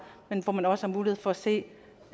men hvor man også har mulighed for at se